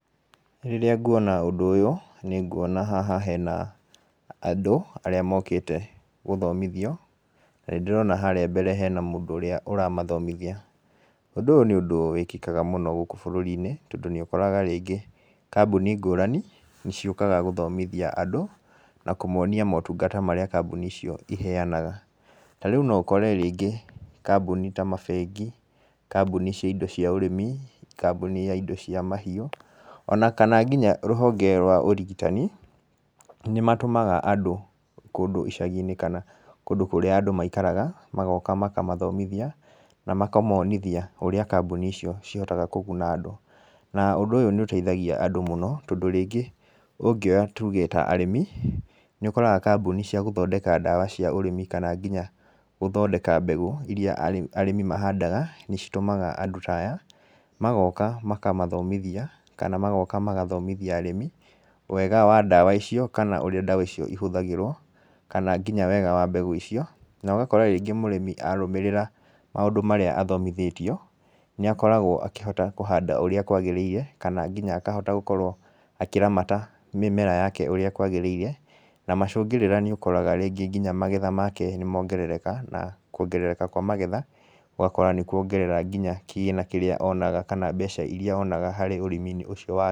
Rĩrĩa ndona ũndũ ũyũ nĩnguona haha hena andũ arĩa mokĩte gũthomithio, na nĩ ndĩrona harĩa mbere hena mũndũ ũrĩa ũramathomithia, ũndũ ũyũ nĩ ũndũ wĩkĩkaga mũno gũkũ bũrũri-inĩ tondũ nĩ ũkoraga rĩngĩ kambũni ngũrani nĩ ciũkaga gũthomithia andũ na kũmonia ũtungata ũrĩa kambũni icio iheanaga, ta rĩu no ũkore kambũni ta mabengi , kambũni cia indo cia ũrĩmi, kambũni ya indo cia mahiũ , ona kana nginya rũhonge rwa ũrigitani nĩ matũmaga andũ kũndũ icagi-inĩ kana kũndũ kũrĩa andũ maikaraga magoka makamathomothia, na makamonithia ũrĩa kambũni icio cihotaga kũguna andũ, na ũndũ ũyũ nĩ ũteithagia andũ mũno tondũ rĩngĩ ũngĩoya tuge arĩmi , nĩ ũkoraga kambũni cia gũthondeka ndawa cia ũrĩmi kana nginya gũthondeka mbegũ iria andũ mahandaga nĩ citũmaga andũ ta aya ,magoka makamathomithia kana magoka makathomithia arĩmi wega wa ndawa icio kana ũrĩa ndawa icio ihũthagĩrwo kana nginya wega wa mbegũ icio, na ũgakora rĩngĩ mũrĩmi arũmĩrĩra maũndũ marĩa athomithĩtio nĩ akoragwo akũhanda ũrĩa kwagĩrĩire , kana nginya akahota gũkorwo akĩramata mĩmera yake ũrĩa kwagĩrĩire, na macũngĩrĩra nĩ ũkoraga nginya magetha make nĩmongerereka na kwongerereka kwa magetha ũgakora nĩ kwongerera nginya kĩgĩna kĩrĩa onaga kana mbeca iria onaga harĩ ũrĩmi ũcio wake.